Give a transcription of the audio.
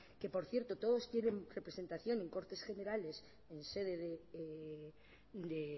que por cierto todos tienen representación en cortes generales o en sede de